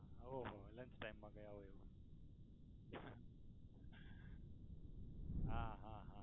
હા હો અલગ time મા કહે આવો એવું હા હા હા